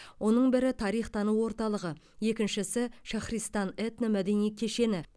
оның бірі тарих тану орталығы екіншісі шахристан этномәдени кешені